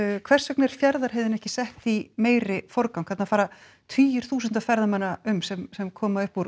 hvers vegna er Fjarðarheiðin ekki sett í meiri forgang þarna fara tugir þúsunda ferðamanna um sem sem koma upp úr